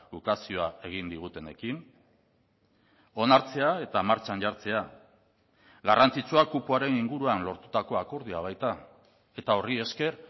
ukazioa egin digutenekin onartzea eta martxan jartzea garrantzitsua kupoaren inguruan lortutako akordioa baita eta horri esker